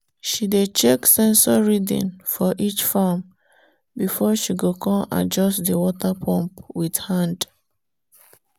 she dey check sensor reading for each farm before she go come adjust the water pump with hand.